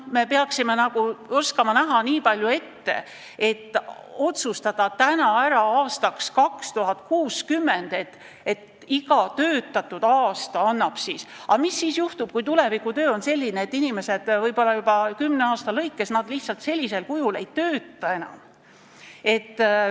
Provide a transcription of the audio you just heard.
Me peaksime oskama näha nii palju ette, et otsustada asju ka aastaks 2060. Mis siis juhtub, kui tulevikutöö on selline, et inimesed võib-olla juba kümne aasta pärast senisel moel ei tööta enam?